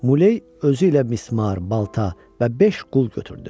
Muley özü ilə mismar, balta və beş qul götürdü.